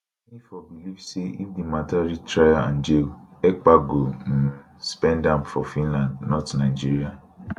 mefor believe say if di matter reach trial and jail ekpa go um spend am for finland not nigeria